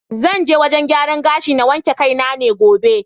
Zan je wajen gyaran gashi na wanke kai ne gobe.